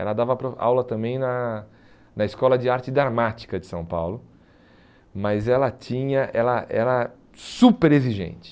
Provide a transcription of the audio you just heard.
Ela dava para aula também na na Escola de Arte Dramática de São Paulo, mas ela tinha ela era super exigente.